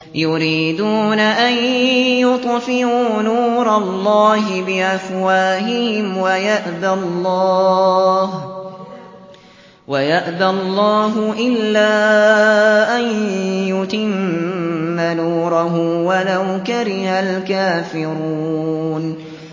يُرِيدُونَ أَن يُطْفِئُوا نُورَ اللَّهِ بِأَفْوَاهِهِمْ وَيَأْبَى اللَّهُ إِلَّا أَن يُتِمَّ نُورَهُ وَلَوْ كَرِهَ الْكَافِرُونَ